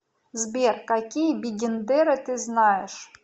сбер какие бигендеры ты знаешь